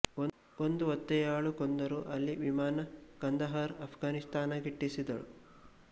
ಒಂದು ಒತ್ತೆಯಾಳು ಕೊಂದರು ಅಲ್ಲಿ ವಿಮಾನ ಕಂದಹಾರ್ ಅಫ್ಘಾನಿಸ್ಥಾನ ಗಿಟ್ಟಿಸಿದಳು